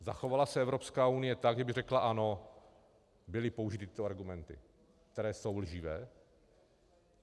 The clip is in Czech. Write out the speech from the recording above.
Zachovala se Evropská unie tak, že by řekla ano, byly použity tyto argumenty, které jsou lživé.